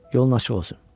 Yolun açıq olsun.